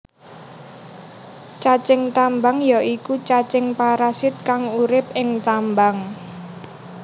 Cacing tambang ya iku cacing parasit kang urip ing tambang